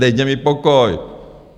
Dejte mi pokoj!